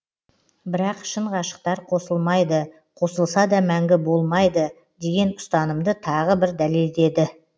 бірақ шын ғашықтар қосылмайды қосылса да мәңгі болмайды деген ұстанымды тағы бір дәлелдеді